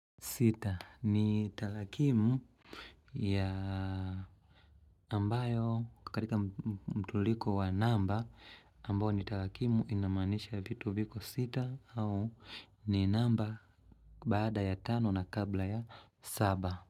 Sita ni talakimu ya ambayo katika mtuliko wa namba ambayo ni talakimu inamanisha vitu viko sita au ni namba baada ya tano na kabla ya saba.